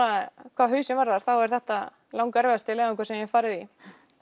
hvað hausinn varðar er þetta erfiðasti leiðangur sem ég hef farið í